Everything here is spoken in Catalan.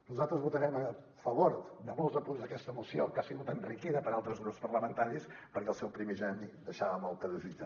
nosaltres votarem a favor de molts de punts d’aquesta moció que ha sigut enriquida per altres grups parlamentaris perquè el seu primigeni deixava molt a desitjar